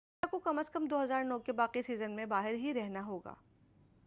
ماسا کو کم از کم 2009 کے باقی سیزن میں باہر ہی رہنا ہوگا